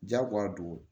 Jagoya don